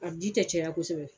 A ji tɛ caya kosɛbɛ.